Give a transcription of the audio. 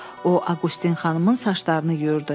O, Aqustin xanımın saçlarını yuyurdu.